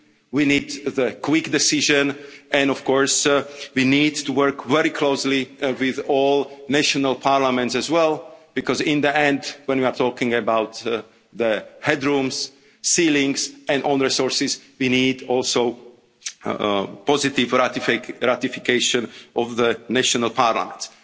decision. We need a quick decision, and of course we need to work very closely with all national parliaments as well, because in the end, when we are talking about the head rooms, ceilings and own resources, we need also the positive ratification of the national parliaments.